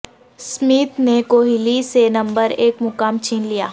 Smith نے کوہلی سے number ایک مقام چھین لیا